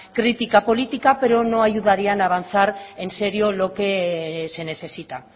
crítica política pero no ayudarían a avanzar en serio lo que se necesita